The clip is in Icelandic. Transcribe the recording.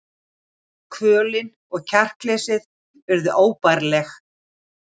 Kvölin og kjarkleysið urðu óbærileg.